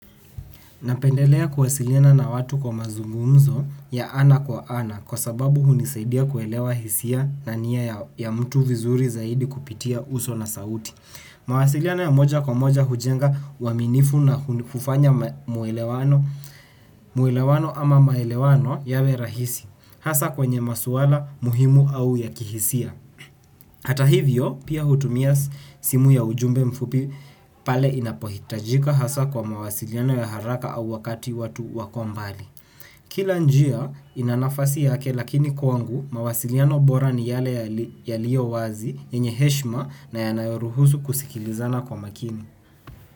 Napendelea kuwasiliana na watu kwa mazungumzo ya ana kwa ana kwa sababu hunisaidia kuelewa hisia na nia ya mtu vizuri zaidi kupitia uso na sauti. Mawasiliano ya moja kwa moja hujenga uaminifu na kufanya muelewano ama maelewano yawe rahisi. Hasa kwenye maswala muhimu au ya kihisia. Hata hivyo pia hutumia simu ya ujumbe mfupi pale inapohitajika hasa kwa mawasiliano ya haraka au wakati watu wakombali. Kila njia inanafasi yake lakini kwangu mawasiliano bora ni yale ya liyo wazi yenye heshma na yanayoruhusu kusikilizana kwa makini.